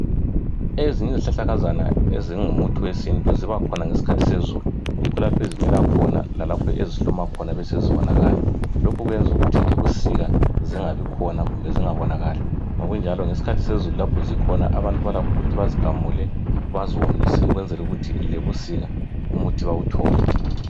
Ezinye izihlahlakazana ezingumuthi wesintu zibakhona ngesikhathi sezulu yikho lapho ezimila khona lalapho ezihluma khona besezibonakala lokhu kwenza ukuthi ebusika zingabikhona kumbe zingabonakali ngokunjalo ngesikhathi sezulu lapho zikhona abantu balakho ukuthi bazigamule baziwomise ukwenzela ukuthi lebusika umuthi bawuthole